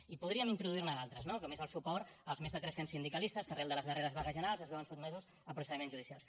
i podríem introduir ne d’altres no com és el suport als més de tres cents sindicalistes que arran de les darreres vagues generals es veuen sotmesos a procediments judicials